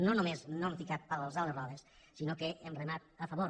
no només no hem ficat pals a les rodes sinó que hem remat a favor